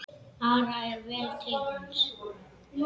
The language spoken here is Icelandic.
Ara er vel til hans.